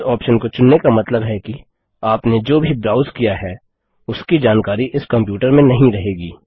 इस ऑप्शन को चुनने का मतलब है कि आपने जो भी ब्राउज़ किया है उसकी जानकारी इस कंप्यूटर में नहीं रहेगी